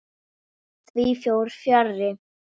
Því fór fjarri.